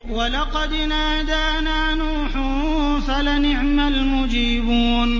وَلَقَدْ نَادَانَا نُوحٌ فَلَنِعْمَ الْمُجِيبُونَ